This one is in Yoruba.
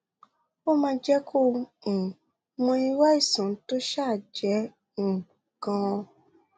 ó máa jẹ kó o um mọ irú àìsàn tó um jẹ um ganan